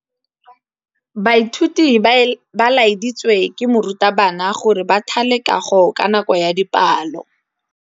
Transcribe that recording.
Baithuti ba laeditswe ke morutabana gore ba thale kagô ka nako ya dipalô.